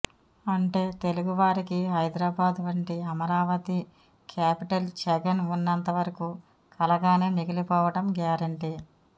అంటే తెలుగు వారికి హైదరాబాదు వంటి అమరావతి క్యాపిటల్ జగన్ ఉన్నంత వరకు కలగానే మిగిలిపోవడం గ్యారంటీ